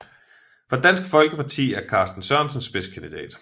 For Dansk Folkeparti er Carsten Sørensen spidskandidat